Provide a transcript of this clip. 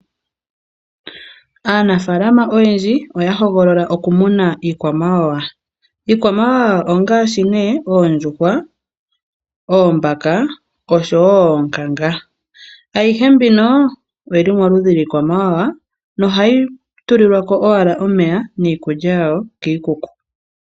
Aanafaalama oyendji oya hogolola oku muna iikwamawawa, iikwamawawa ongaashi nee oondjuhwa, oombaka oshowo oonkanga, ayihe mbino oyili moludhi lwiikwamawawa no hayi tulilwa ko owala omeya niikulya yawo kiikuku.